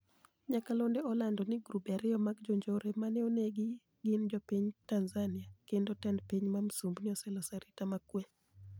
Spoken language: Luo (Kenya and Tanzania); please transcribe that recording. niyakalonido olanido nii girube ariyo mag jonijore mani e oni egi ni e gini jopiniy ma tanizaniiakenido tenid piniy ma msumbiji oseloso arita ma kwe.